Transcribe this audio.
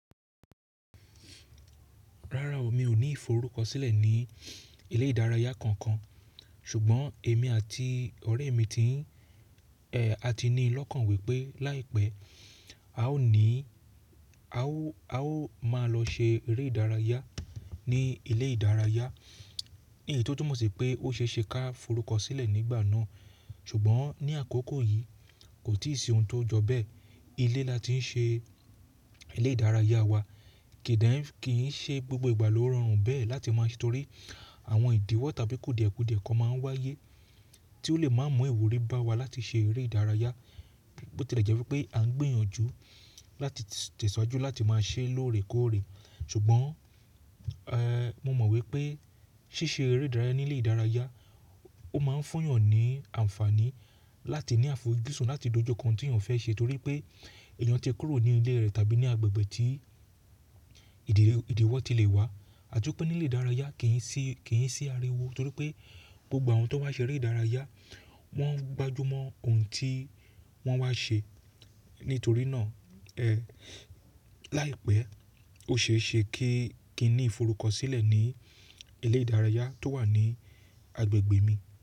Rárá o, mi ò ní ìforúkọsílẹ̀ ní ilé ìdárayá kankan. Ṣùgbọ́n èmi àti ọ̀rẹ́ mi ti ń, a ti ní lọ́kàn wípé láìpẹ́ a ó ní, a ó, a ó máa lọ se eré ìdárayá ní ilé ìdárayá. Ìyí tó túmọ̀ sí pé ó ṣe ṣe ká forúkọsílẹ̀ nígbà náà. Ṣùgbọ́n ní àkókò yìí kò tí ì sí ohun tó jọ bẹ́ẹ̀. Ilé la ti ń ṣe ilé ìdárayá wa. Ki n de, kí n ṣe gbogbo ìgbà ló rọrùn bẹ́ẹ̀ láti máa tọrí àwọn ìdíwọ̀ tàbí kùdìẹ́kùdìẹ́ kan máa ń wáyé tí ó lè máa mú ìwúrí bá wa láti ṣe eré ìdárayá. Ó ti é jẹ́ wípé à ń gbìyànjú láti tẹ̀síwájú láti máa ṣe lóore kóòre. Ṣùgbọ́n, mo mọ̀ wípé ṣíṣe eré ìdárayá ní ilé ìdárayá ó máa fun eyàn ní ànfàní láti ní àfojúsùn láti dojú kan ohun tí èyàn fẹ́ ṣe torí pé èèyàn ti kúrò ní ilé rẹ̀ tàbí ní agbègbè tí ìdíwọ̀ ti lè wá. Àti wípé nílé ìdárayá kì n ṣí, kì n ṣí ariwo torí pé gbogbo àwọn tó wá ṣe eré ìdárayá wọ́n gbájú mọ́ ohun tí wọ́n wá ṣe. Nítorí náà, láìpẹ́ ó ṣe é ṣe kí, kí n ní ìforúkọsílẹ̀ ní ilé ìdárayá tó wà ní agbègbè mi.